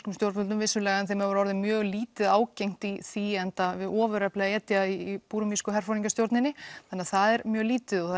stjórnvöldum vissulega en þeim hefur orðið mjög lítið ágengt í því enda við ofurefli að etja í búrmísku herforingjastjórninni þannig það er mjög lítið og